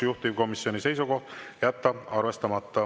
Juhtivkomisjoni seisukoht on jätta arvestamata.